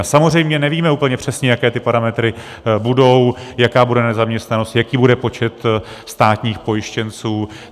A samozřejmě nevíme úplně přesně, jaké ty parametry budou, jaká bude nezaměstnanost, jaký bude počet státních pojištěnců.